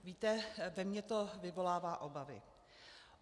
Víte, ve mně to vyvolává obavy.